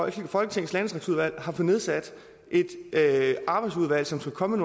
i folketinget har nedsat et arbejdsudvalg som skal komme